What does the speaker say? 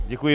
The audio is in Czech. Děkuji.